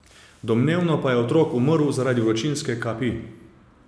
Domnevno pa je otrok umrl zaradi vročinske kapi.